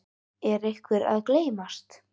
Er einhver að gleymast?